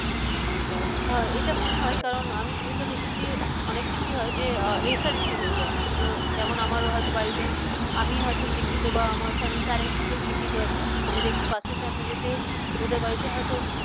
এটা মনে হয় কারন আমি যেহেতু দেখেছি অনেকে কি হয় যে রেষারেষি হয়ে যায় যেমন আমারও হয়তো বাড়িতে আমি হয়তো শিক্ষিত বা আমার family তে আর একজন কেউ শিক্ষিত আছে আমি দেখছি পাশের family তে ওদের বাড়িতে হয়তো